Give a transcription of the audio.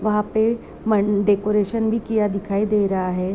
वहाँ पे म न डेकरेशन भी किया दिखाई दे रहा है|